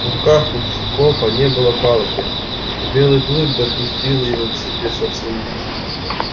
в руках у скопа не было палки и белый клык допустил его к себе совсем близко